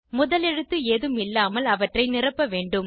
முதல் எழுத்து ஏதும் இல்லாமல் அவற்றை நிரப்ப வேண்டும்